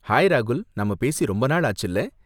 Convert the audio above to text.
Hi ராகுல், நாம பேசி ரொம்ப நாள் ஆச்சுல.